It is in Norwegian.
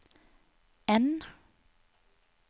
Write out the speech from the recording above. N